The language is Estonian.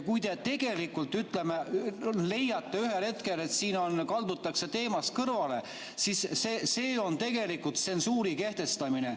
Kui te, ütleme, leiate ühel hetkel, et siin kaldutakse teemast kõrvale, siis see on tegelikult tsensuuri kehtestamine.